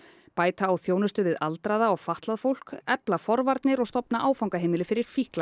bæta á þjónustu við aldraða og fatlað fólk efla forvarnir og stofna áfangaheimili fyrir fíkla